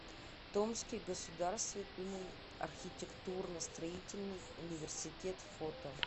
томский государственный архитектурно строительный университет фото